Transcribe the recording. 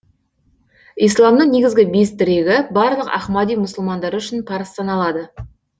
исламның негізгі бес тірегі барлық ахмади мұсылмандары үшін парыз саналады